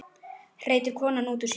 hreytir konan út úr sér.